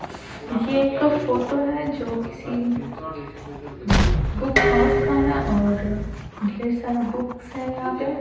ये एक फोटो है जो किसी बुक हाउस का है और ढेर सारा बुक्स है यहाँ पे।